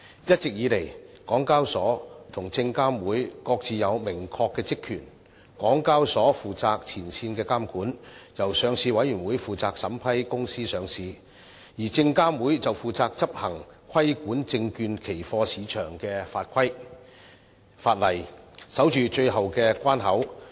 一直以來，港交所和證監會各自有明確的職權，港交所負責前線監管，由上市委員會負責審批公司上市，而證監會則負責執行規管證券期貨市場的法例，守住最後關口。